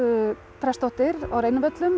prestsdóttir á Reynivöllum